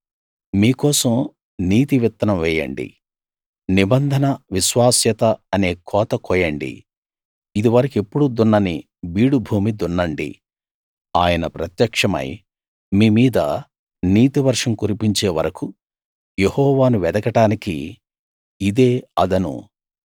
మీ కోసం నీతి విత్తనం వేయండి నిబంధన విశ్వాస్యత అనే కోత కోయండి ఇదివరకెప్పుడూ దున్నని బీడుభూమి దున్నండి ఆయన ప్రత్యక్షమై మీ మీద నీతివర్షం కురిపించే వరకూ యెహోవాను వెదకడానికి ఇదే అదను